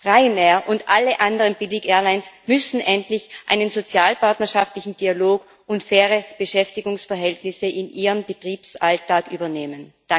Ryanair und alle anderen Billigairlines müssen endlich einen sozialpartnerschaftlichen Dialog und faire Beschäftigungsverhältnisse in ihren Betriebsalltag übernehmen.